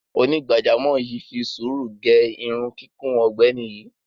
Onígbàjámọ̀ yìí fi sùúrù gẹ irun kíkún ọ̀gbẹ́ni yìí.